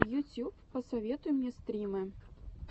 ютьюб посоветуй мне стримы